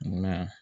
Munna